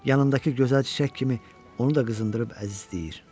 Yanındakı gözəl çiçək kimi onu da qızındırıb əzizləyir.